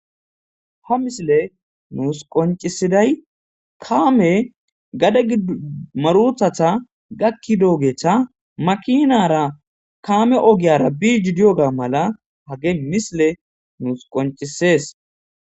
ha misile nuus qoncisiday kaame gade gmaruthata gakki doogetha makinara kaame ogiyara biiji dioga mala hage misile nuus qoncisees